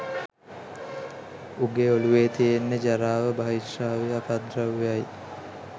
උගේ ඔලුවේ තියෙන්නෙ ජරාවයි බහිශ්‍රාවීය අපද්‍රව්‍යයි